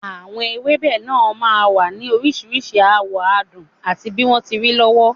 Àwọn ewébẹ̀ náà máa ń wà ní oríṣiríṣi àwọ̀, àádùn àti bí wọ́n ti rí lọ́wọ́